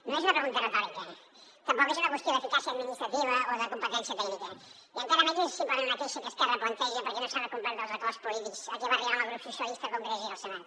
no és una pregunta retòrica tampoc és una qüestió d’eficàcia administrativa o de competència tècnica i encara menys és simplement una queixa que esquerra planteja perquè no s’han complert els acords polítics a què va arribar amb el grup socialistes al congrés i al senat